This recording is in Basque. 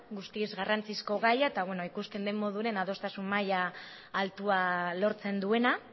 guztiz garrantzizko gaia eta ikusten den moduan adostasun maila altua lortzen duena